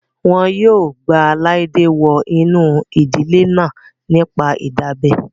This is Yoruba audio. Wọn yóò gba Laide wọ inú ìdílé náà nípa ìdábẹ́